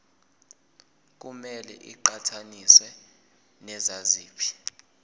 kumele iqhathaniswe naziphi